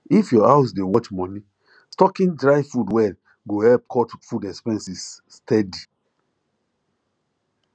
if your house dey watch money stocking dry food well go help cut food expenses steady